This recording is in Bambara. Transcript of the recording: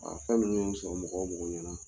fɛn minnu sɔrɔ mɔgɔ o mɔgɔ ɲɛna.